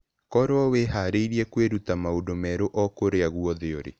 Korũo wĩhaarĩirie kwĩruta maũndũ merũ o kũrĩa guothe ũrĩ.